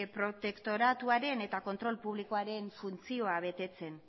protektoratuaren eta kontrol publikoaren funtzioa betetzean